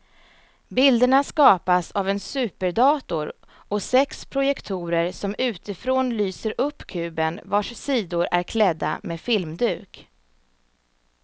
Bilderna skapas av en superdator och sex projektorer som utifrån lyser upp kuben vars sidor är klädda med filmduk.